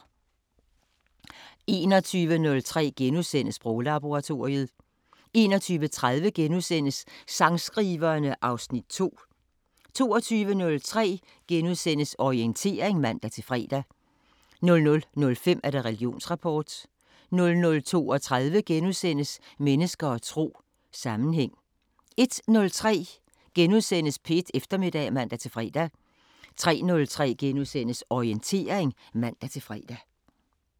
21:03: Sproglaboratoriet * 21:30: Sangskriverne (Afs. 2)* 22:03: Orientering *(man-fre) 00:05: Religionsrapport 00:32: Mennesker og tro: Sammenhæng * 01:03: P1 Eftermiddag *(man-fre) 03:03: Orientering *(man-fre)